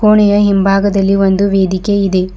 ಕೋಣೆಯ ಹಿಂಭಾಗದಲ್ಲಿ ಒಂದು ವೇದಿಕೆ ಇದೆ.